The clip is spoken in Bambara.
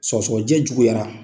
Sɔgɔsɔgɔnijɛ juguyara